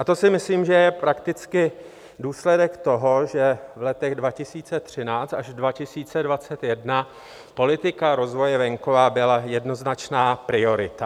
A to si myslím, že je prakticky důsledek toho, že v letech 2013 až 2021 politika rozvoje venkova byla jednoznačná priorita.